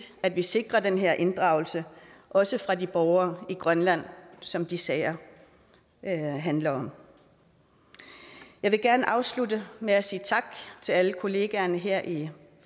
at vi sikrer den her inddragelse også fra de borgere i grønland som de sager handler om jeg vil gerne afslutte med at sige tak til alle kollegaerne her i